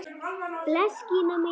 Bless Gína mín!